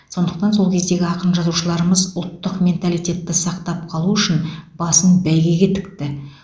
сондықтан сол кездегі ақын жазушыларымыз ұлттық менталитетті сақтап қалу үшін басын бәйгеге тікті